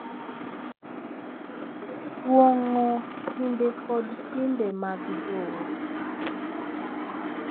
Kuong’o timbe kod timbe mag joot,